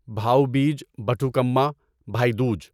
بھاؤ بیج بتوکما بھائی دوج